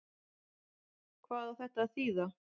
Hvað á þetta að þýða?